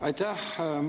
Aitäh!